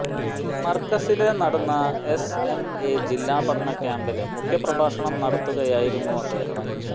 മര്കസില് നടന്ന S M A ജില്ലാ പഠന ക്യമ്പില് മുഖ്യപ്രഭാഷണം നടത്തുകയായിരുന്നു അദ്ദേഹം